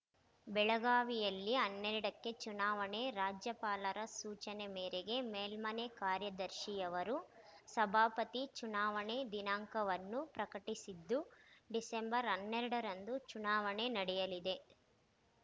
ಬೆಳಗಾವಿಯಲ್ಲಿ ಹನ್ನೆರಡಕ್ಕೆ ಚುನಾವಣೆ ರಾಜ್ಯಪಾಲರ ಸೂಚನೆ ಮೇರೆಗೆ ಮೇಲ್ಮನೆ ಕಾರ್ಯದರ್ಶಿಯವರು ಸಭಾಪತಿ ಚುನಾವಣೆ ದಿನಾಂಕವನ್ನು ಪ್ರಕಟಿಸಿದ್ದು ಡಿಸೆಂಬರ್ ಹನ್ನೆರಡರಂದು ಚುನಾವಣೆ ನಡೆಯಲಿದೆ